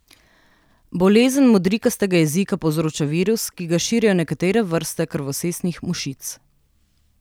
Bolezen modrikastega jezika povzroča virus, ki ga širijo nekatere vrste krvosesih mušic.